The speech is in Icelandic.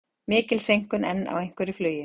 Mikil seinkun enn á einhverju flugi